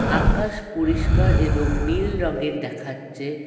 আকাশ পরিষ্কার এবং নীল রঙের দেখাচ্ছে।